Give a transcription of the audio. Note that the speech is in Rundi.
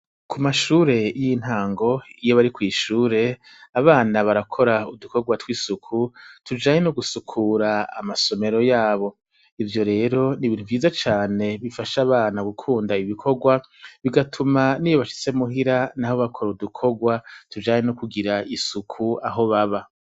Ku mashure y'intango iyo bari kw'ishure abana barakora udukorwa tujanye no gusukura amasomero yabo, ivyo rero n'ibintu vyiza cane bifasha abana gukunda ivyo bikorwa bigatuma n'iyo bashitse muhira naho bakora udukorwa tujanye no kugira isuku aho baba.